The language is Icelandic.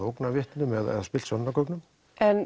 ógnað vitni eða spillt sönnunargögnum en